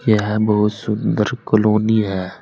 यह बहुत सुंदर कलोनी है।